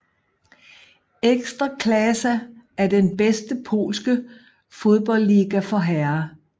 Ekstraklasa er den bedste polske fodboldliga for herrer